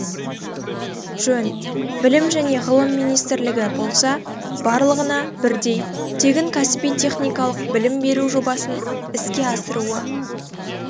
жөн білім және ғылым министрлігі болса барлығына бірдей тегін кәсіби-техникалық білім беру жобасын іске асыруы